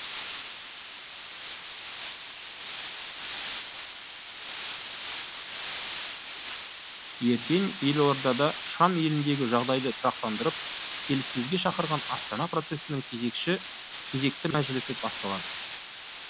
ертең елордада шам еліндегі жағдайды тұрақтандырып келіссөзге шақырған астана процесінің кезекті мәжілісі басталады